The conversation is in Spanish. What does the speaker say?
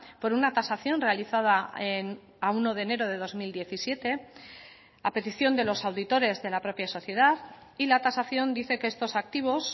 por una tasación realizada a uno de enero de dos mil diecisiete a petición de los auditores de la propia sociedad y la tasación dice que estos activos